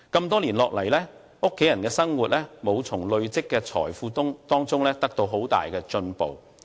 多年下來，家人的生活未能從累積的財富中得到很大的改善。